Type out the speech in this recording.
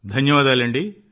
ధన్యవాదాలండీ